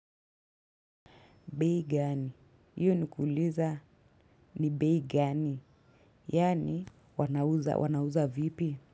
Bei gani, hiyo ni kuuliza ni bei gani, yani wanauza, wanauza vipi?